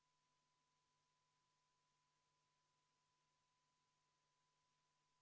Palun kohaloleku kontroll!